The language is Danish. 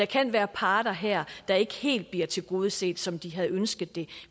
kan være parter her der ikke helt bliver tilgodeset som de havde ønsket det